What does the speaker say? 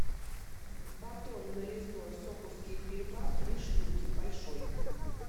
батон нарезной сокурские хлеба три штуки большой